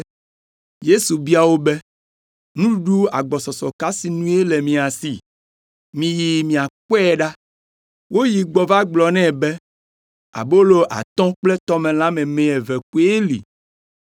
Yesu bia wo be, “Nuɖuɖu agbɔsɔsɔ ka sinue le mia si? Miyi miakpɔe ɖa.” Woyi gbɔ va gblɔ nɛ be, “Abolo atɔ̃ kple tɔmelã meme eve koe li.”